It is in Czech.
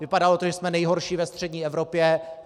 Vypadalo to, že jsme nejhorší ve střední Evropě.